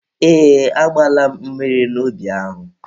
Ee, agbaala m mmiri n'ubi ahụ.